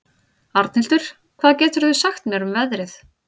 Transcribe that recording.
Arnhildur, hvað geturðu sagt mér um veðrið?